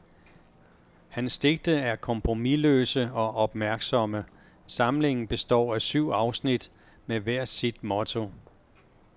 Hans digte er kompromisløse og opmærksomme, samlingen består af syv afsnit, med hvert sit motto.